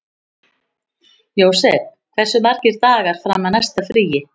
Jósep, hversu margir dagar fram að næsta fríi?